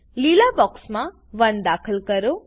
લીલા બોક્સમા 1 દાખલ કરો